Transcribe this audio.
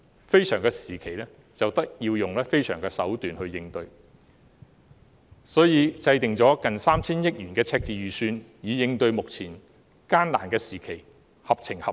非常時期便要用非常手段來應對，所以制訂了接近 3,000 億元的赤字預算，以應對目前艱難的時期，實屬合情合理。